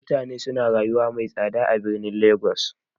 Mutane suna rayuwa mai tsada a birnin legas.